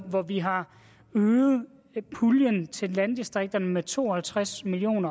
hvor vi har øget puljen til landdistrikterne med to og halvtreds million